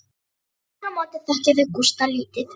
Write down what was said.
Aftur á móti þekkja þau Gústa lítið.